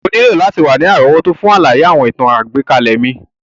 O nílò láti wa ni àrówótó fun àlàyé àwọn ìtàn àgbékalẹ̀ mi.